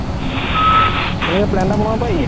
তে plan এটা বনাব পাৰি